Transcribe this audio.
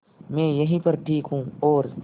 मैं यहीं पर ठीक हूँ और